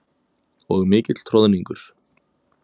Og mikill troðningur.